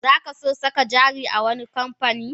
Zaka so saka jari a wani kamfani?